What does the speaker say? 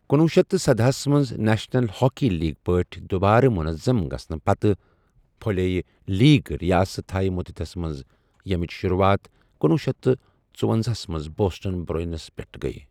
کنۄہ شیتھ تہٕ سداہ ہَس منٛز نیشنل ہاکی لیگ پٲٹھۍ دوبارٕ منظم گژھَنہٕ پتہٕ پھٔلیٚے لیگ ریاست ہائے متحدَس منٛز، ییٚمیٕچ شروٗعات کنۄہ شیتھ تہٕ ژٔۄہُ منٛز بوسٹن بروئنس پٮ۪ٹٕ گٔیہِ۔